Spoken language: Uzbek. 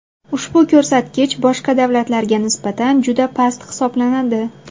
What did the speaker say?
Ushbu ko‘rsatkich boshqa davlatlarga nisbatan juda past hisoblanadi.